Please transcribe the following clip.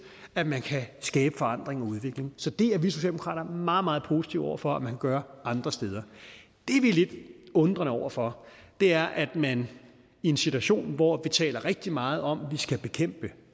at man kan skabe forandring og udvikling så det er vi socialdemokrater meget meget positive over for at man gør andre steder det vi er lidt undrende over for er at man i en situation hvor vi taler rigtig meget om at vi skal bekæmpe